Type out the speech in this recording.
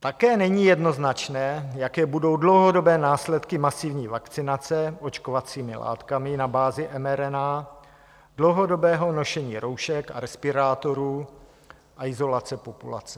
Také není jednoznačné, jaké budou dlouhodobé následky masivní vakcinace očkovacími látkami na bázi mRNA, dlouhodobého nošení roušek a respirátorů a izolace populace.